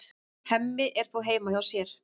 Hemmi er þó heima hjá sér.